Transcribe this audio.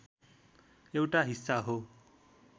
एउटा हिस्सा हो।